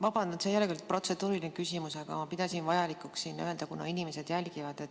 Vabandan, et see ei ole küll protseduuriline küsimus, aga ma pidasin vajalikuks öelda, kuna inimesed jälgivad.